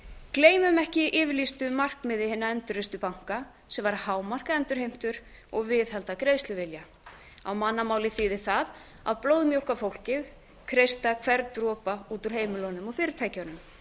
gleymum ekki yfirlýstu markmiði hinna endurreistu banka sem var að hámarka endurheimtur og viðhalda greiðsluvilja á mannamáli þýðir það að blóðmjólka fólkið kreista hvern dropa út úr heimilunum og fyrirtækjunum